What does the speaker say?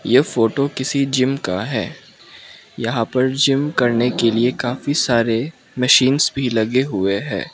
ये फोटो किसी जिम का है यहां पर जिम करने के लिए काफी सारे मशीन्स भी लगे हुए हैं।